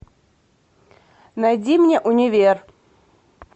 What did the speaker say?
найди мне универ